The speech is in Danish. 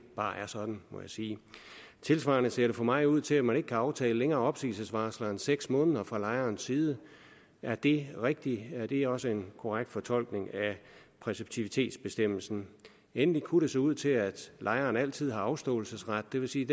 bare er sådan må jeg sige tilsvarende ser det for mig ud til at man ikke kan aftale længere opsigelsesvarsler end seks måneder fra lejerens side er det rigtigt er det også en korrekt fortolkning af præceptivitetsbestemmelsen endelig kunne det se ud til at lejeren altid har afståelsesret det vil sige